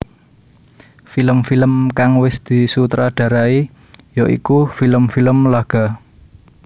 Film film kang wis disutradarai ya iku film film laga